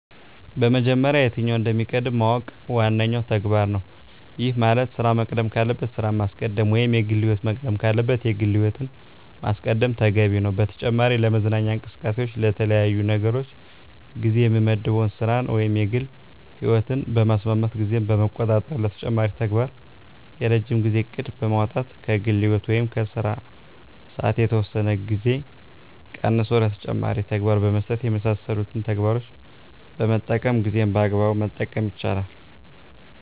በመጀመሪያ የትኛው እንደሚቀድም ማወቅ ዋነኛው ተግባር ነው። ይህ ማለት ስራ መቅደም ካለበት ስራን ማስቀደም ወይም የግል ህይወት መቅደም ካለበት የግል ህይወትን ማስቀደም ተገቢ ነው። በተጨማሪ ለመዝናኛ እንቅስቃሴዎች ለተለያዩ ነገሮች ጊዜ የምመድበው ስራን ወይም የግል ህይወትን በማስማማት ጊዜን በመቆጣጠር ለተጨማሪ ተግባር የረጅም ጊዜ እቅድ በማውጣት ከግል ህይወት ወይም ከስራ ሰዓት የተወሰነ ጊዜ ቀንሶ ለተጨማሪ ተግባር በመስጠት የመሳሰሉትን ተግባሮችን በመጠቀም ጊዜን በአግባቡ መጠቀም ይቻላል።